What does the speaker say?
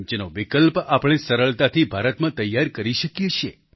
જેનો વિકલ્પ આપણે સરળતાથી ભારતમાં તૈયાર કરી શકીએ છીએ